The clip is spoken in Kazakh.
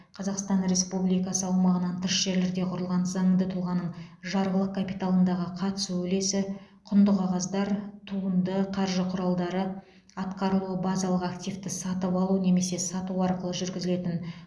қазақстан республикасы аумағынан тыс жерлерде құрылған заңды тұлғаның жарғылық капиталындағы қатысу үлесі құнды қағаздар туынды қаржы құралдары атқарылуы базалық активті сатып алу немесе сату арқылы жүргізілетін